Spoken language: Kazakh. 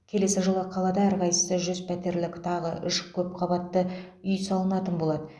келесі жылы қалада әрқайсысы жүз пәтерлік тағы үш көпқабатты үй салынатын болады